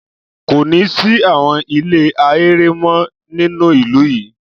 Kò ní sí àwọn ilé ahéré mọ́ nínú ìlú yìí.